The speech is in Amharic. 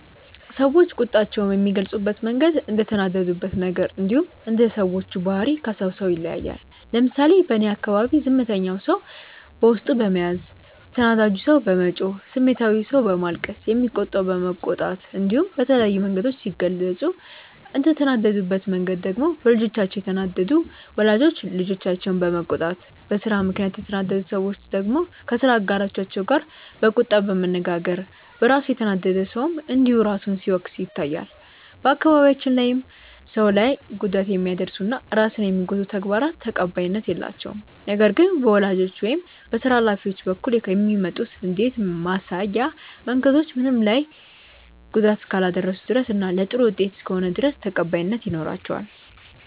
ሰዎች ቁጣቸውን የሚገልጹበት መንገድ እንደተናደዱበት ነገር እንዲሁም እንደ ሰዎቹ ባህሪ ከሰው ሰው ይለያያል። ለምሳሌ በእኔ አካባቢ ዝምተኛው ሰው በውስጡ በመያዝ፣ ተናዳጁ ሰው በመጮህ፣ ስሜታዊው ሰው በማልቀስ፣ የሚቆጣው በመቆጣት እንዲሁም በተለያዩ መንገዶች ሲገልጹ፤ እንደተናደዱበት መንገድ ደግሞ በልጆቻቸው የተናደዱ ወላጆች ልጆቻቸውን በመቆጣት፣ በስራ ምክንያት የተናደዱ ሰዎች ደግሞ ከስራ አጋሮቻቸው ጋር በቁጣ በመነጋገር፣ በራሱ የተናደደ ሰውም እንዲሁ ራሱን ሲወቅስ ይታያል። በአካባቢያችን ላይም ሰው ላይ ጉዳት የሚያደርሱ እና ራስን የሚጎዱ ተግባራት ተቀባይነት የላቸውም። ነገር ግን በወላጆች ወይም በስራ ሀላፊዎች በኩል የሚመጡ ንዴት ማሳያ መንገዶች ምንም ላይ ጉዳት እስካላደረሱ ድረስ እና ለጥሩ ውጤት እስከሆነ ድረስ ተቀባይነት ይኖራቸዋል።